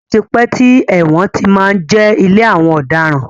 Ó ti pẹ́ tí ẹ̀wọ̀n ti má ń jẹ́ ilé àwọn ọ̀daràn.